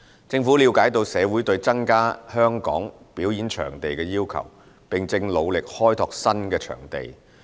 政府了解到社會對增加香港表演場地的需求，並正努力開拓新的場地。